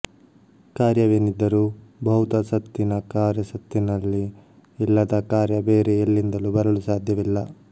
ಕಾರ್ಯವೇನಿದ್ದರೂ ಭೌತ ಸತ್ತಿನ ಕಾರ್ಯ ಸತ್ತಿನಲ್ಲಿ ಇಲ್ಲದ ಕಾರ್ಯ ಬೇರೆ ಎಲ್ಲಿಂದಲೂ ಬರಲು ಸಾಧ್ಯವಿಲ್ಲ